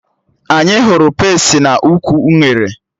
Anyị hụrụ pesti n'ukwu unere